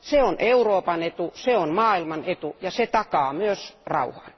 Se on Euroopan etu, se on maailman etu, ja se takaa myös rauhan.